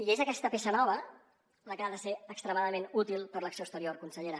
i és aquesta peça nova la que ha de ser extremadament útil per a l’acció exterior consellera